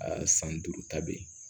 A san duuru ta be yen